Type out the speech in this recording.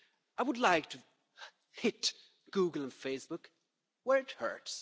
I would like to hit Google and Facebook where it hurts.